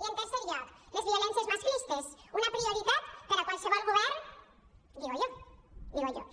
i en tercer lloc les violències masclistes una prioritat per a qualsevol govern digo yo víem